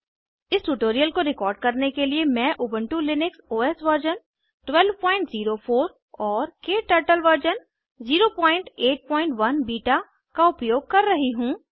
इस ट्यूटोरियल को रिकॉर्ड करने के लिए मैं उबंटु लिनक्स ओएस वर्ज़न 1204 और क्टर्टल वर्ज़न 081 बीटा का उपयोग कर रही हूँ